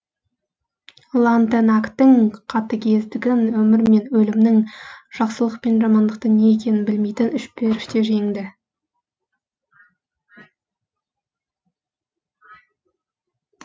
лантенактың қатігездігін өмір мен өлімнің жақсылық пен жамандықтың не екенін білмейтін үш періште жеңді